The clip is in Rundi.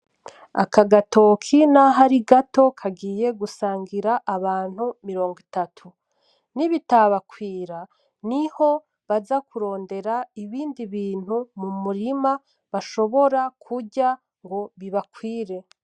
Aka gatoki naho ari gato kagiye gusangira abantu mirong’itatu. Ni bitabakwira, niho baza kurondera ibindi bintu mu murima bashobora kurya ngo bibakwire.